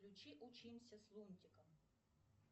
включи учимся с лунтиком